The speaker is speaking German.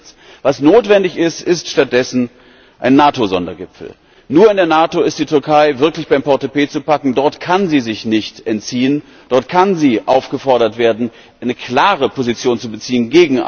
Es passiert nichts. Was notwendig ist, ist stattdessen ein Nato Sondergipfel. Nur in der Nato ist die Türkei wirklich beim Portepee zu packen, dort kann sie sich nicht entziehen, dort kann sie aufgefordert werden, gegen ISIS eine klare Position zu beziehen.